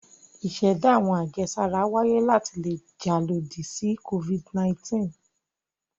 Ìṣẹ̀dá àwọn àjẹsára wáyé láti le jà lòdì sí Covid-19.